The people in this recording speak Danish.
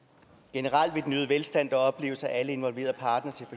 generelt vil den øgede velstand der opleves af alle involverede partnere